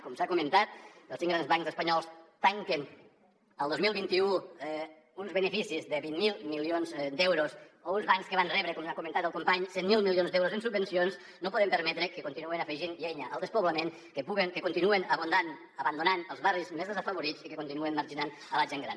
com s’ha comentat els cinc grans bancs espanyols tanquen el dos mil vint u amb uns beneficis de vint miler milions d’eu ros o uns bancs que van rebre com ha comentat el company cent miler milions d’euros en subvencions no podem permetre que continuïn afegint llenya al despoblament que continuen abandonant els barris més desafavorits i que continuen marginant la gent gran